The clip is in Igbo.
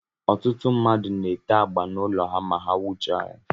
Ọtụtụ ndị mmadụ na-ete agba n'ụlọ ha ma ha wuchaa ya.